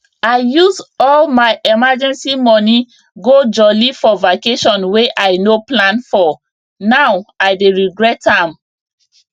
i use all my emergency money go jolly for vacation wey i no plan for now i dey regret am